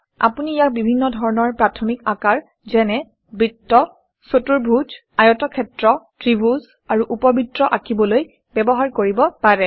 আপুনি ইয়াক বিভিন্ন ধৰণৰ প্ৰাথমিক আকাৰ যেনে - বৃত্ত চতুৰ্ভুজ আয়তক্ষেত্ৰ ত্ৰিভুজ আৰু উপবৃত্ত আঁকিবলৈ ব্যৱহাৰ কৰিব পাৰে